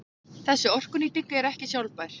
Þessi orkunýting er ekki sjálfbær.